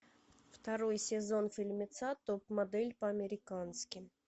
второй сезон фильмеца топ модель по американски